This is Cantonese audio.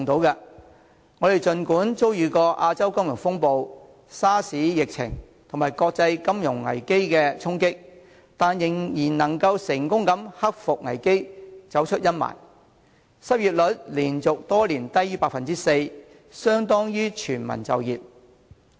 儘管我們曾遭遇亞洲金融風暴、SARS 疫情及國際金融危機的衝擊，但仍能克服危機，走出陰霾，失業率連續多年低於 4%， 相當於全民就業。